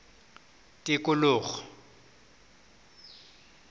tikologo